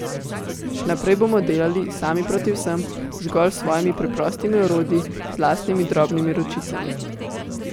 Še naprej bomo delali, sami proti vsem, zgolj s svojimi preprostimi orodji, z lastnimi drobnimi ročicami.